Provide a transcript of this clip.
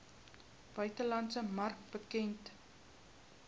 buitelandse mark bekend